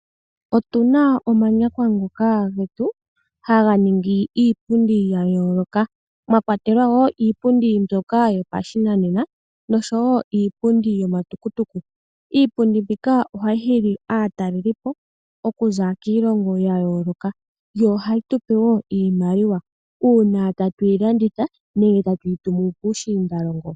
Otuna omanyakwa ngoka getu haga ningi iipundi ya yooloka mwa kwatelwa iipundi mbyoka yopashi nanena niipundi yoma tukutuku. Iipundi mbika ohayi hili aatalelipo okuza kiilongo ya yooloka yo ohayi tupe iimaliwa uuna tatu yi landitha nenge tatuyi tumu puushinda longo.